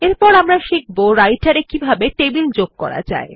এরপর আমরা শিখব রাইটের এ কিভাবে টেবিল যোগ করা যায়